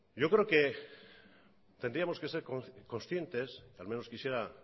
yo creo que tendríamos que ser conscientes o al menos quisiera